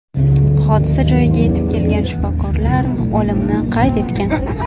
Hodisa joyiga yetib kelgan shifokorlar o‘limni qayd etgan.